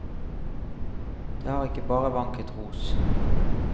Det har ikke bare vanket ros.